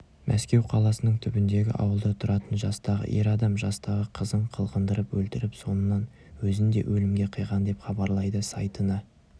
мәскеу қаласының түбіндегі ауылда тұратын жастағы ер адам жастағы қызын қылғындырып өлтіріп соңынан өзін де өлімге қиған деп хабарлайды сайтына